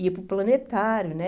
Ia para o planetário, né?